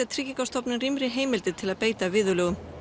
Tryggingastofnun rýmri heimildir til að beita viðurlögum